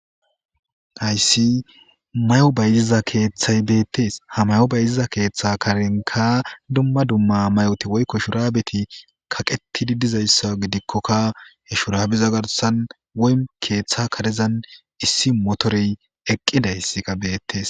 Hayssi mayo bayziza keeththay beetees; ha mayo bayziza keeththa karenkka dumma dumma mayoti woykko shurabeti kaqetidi dizayssa gidikokka he shurabeza garssan woym keeththa karezan issi motorey eqqidayssika beetees.